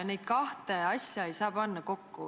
Neid kahte asja ei saa panna kokku.